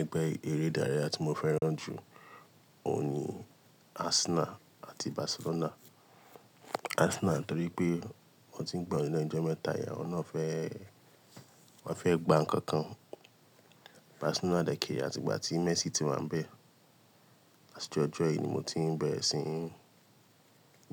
Ẹgbẹ́ eré dáréjà tí mo fẹ́ràn jù oun ni Arsenal àti Barcelona. Arsenal torí pé wọ́n ti ń gbayi lénu ijọ mẹ́ta, awọn náà fẹ́, wọ́n fẹ́ gba ǹkan kan. Barcelona dẹ̀kẹ̀ re, áti ìgbà tí Messi ti wà ń bẹ. Ati ijọjọ yìí ni mo ti ń bẹ̀rẹ̀ sí